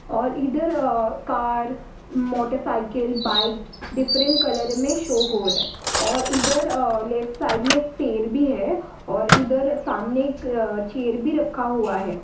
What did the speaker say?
और इधर car motorcycle bike different colour में शो हो रहा है और इधर और लेफ्ट साइड में पर भी है और इधर सामने एक चेयर रखा हुआ है।